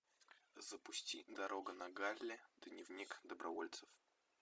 запусти дорога на галле дневник добровольцев